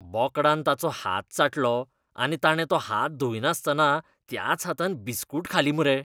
बोकडान ताचो हात चाटलो आनी ताणें तो हात धुंयनासतना त्याच हातान बिस्कूट खाली मुरे.